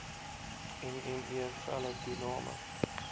nne felle toename